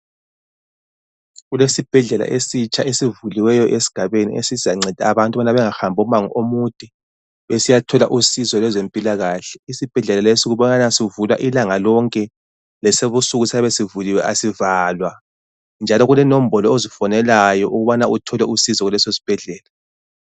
Kulesibhedlela esitsha esivuliwe esigabeni esizanceda abantu ukubana bengahambi umango omude besiyathola usizo lwezempilakahle. Isibhedlela lesi kubonakala sivulwa ilanga lonke lasebusuku siyabe sivuliwe asivalwa ,njalo kulenombolo ozifonelayo ukubana uthole usizo kuleso sibhedlela.